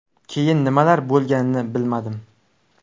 Keyin nimalar bo‘lganini bilmadim.